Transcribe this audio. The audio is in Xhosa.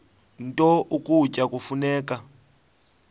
nto ukutya kufuneka